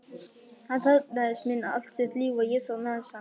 Hann þarfnaðist mín allt sitt líf, og ég þarfnaðist hans.